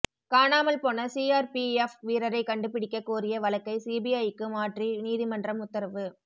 காணாமல்போன CRPF வீரரை கண்டிபிடிக்கக் கோரிய வழக்கை சிபிஐக்கு மாற்றி நீதிமன்றம் உத்தரவு